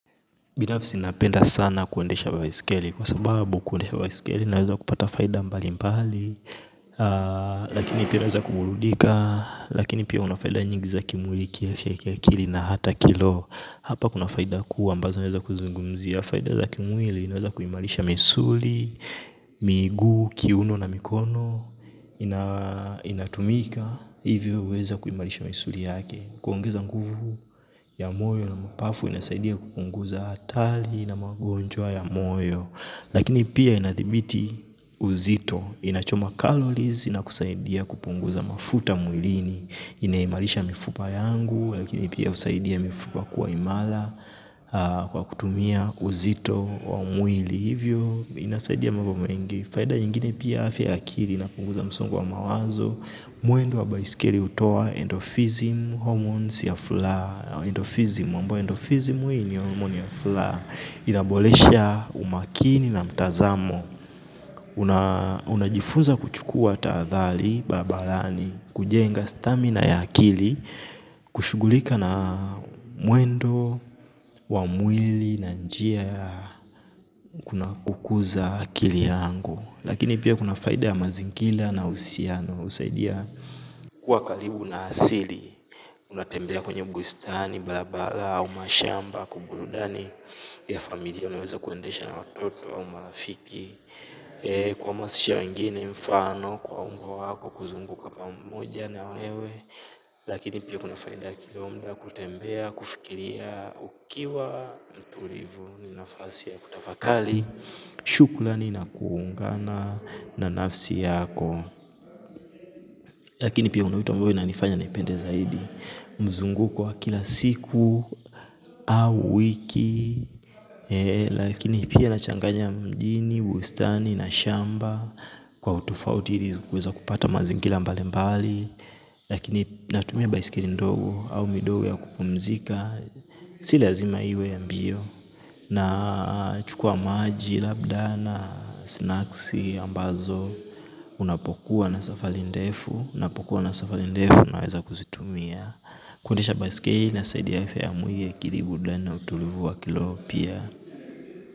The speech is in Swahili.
Binafsi napenda sana kuendesha baiskeli, kwa sababu kuendesha baiskeli naweza kupata faida mbali mbali. Lakini pia naweza kuburudika, lakini pia unafaida nyingi za kimwili kiafya kiakili na ata kiroho. Hapa kuna faida kuu ambazo naeza kuzungumzia, faida za kimwili inaeza kuimarisha misuli, miguu, kiuno na mikono. Inatumika, hivyo uweza kuimalisha misuli yake. Kuongeza nguvu ya moyo na mapafu inasaidia kupunguza hatari na magonjwa ya moyo. Lakini pia inadhibiti uzito, inachomakalo hizi nakusaidia kupunguza mafuta mwilini inaimarisha mifupa yangu lakini inasaidia mifupa kukua imara. Kwa kutumia uzito wa mwili. Hivyo inasaidia mambo mengi. Faida ingine pia afya ya akili na kupunguza msongo wa mawazo. Mwendo wa baiskeli hutoa endophysm, hormones ya furaha. Endophysm, ambayo endophysm ni hormone ya furaha. Inaboresha umakini na mtazamo. Unajifunza kuchukua taadhali, barabarani. Kujenga stamina ya akili kushughulika na mwendo, wa mwili na njia ya kukuza akili yangu. Lakini pia kuna faida ya mazingira na husiano husaidia kuwa karibu na asili unatembea kwenye bustani barabara au mashamba kuburudani ya familia unaweza kuendesha na watoto au marafiki kuhamasisha wengine mfano kwa ungo wako kuzunguka pamoja na wewe lakini pia kuna faida yake muda wa kutembea kufikiria ukiwa mtulivu ni nafasi ya kutafakari shukrani na kuungana na nafsi yako. Lakini pia una wito ambayo inanifanya niipende zaidi. Mzunguko wa kila siku au wiki lakini pia inachanganya mjini bustani na shamba kwa utofauti ili kuweza kupata mazingira mbalimbali lakini natumia baisikeli ndogo au midogo ya kupumzika si lazima iwe ya mbio. Nachukua maji, labda na snacks ambazo unapokuwa na safari ndefu unapokuwa na safari ndefu unaweza kuzitumia. Kuundisha baskeji inasaidi afya ya mwili. Kiribu akili burudani na utulivu wa kiroho pia.